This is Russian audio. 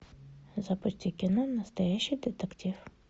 запусти кино настоящий детектив